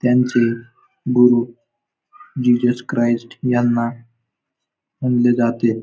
त्यांचे गुरु Jesus Christ यांना मानले जाते.